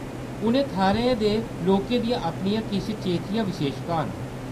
उ'नें थाह्‌रें दे लोकें दियां अपनियां किश चेचियां विशेशतां न।